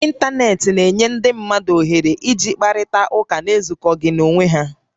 Intanetị na-enyere ndị mmadụ iji kparịta ụka na-ezukọghị na-onwé ha